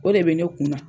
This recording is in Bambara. O de bɛ ne kun na